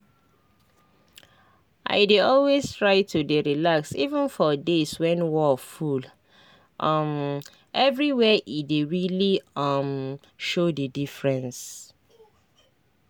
i dey always try to dey relax even for days when wor full um everywhere e dey really um show the diffreence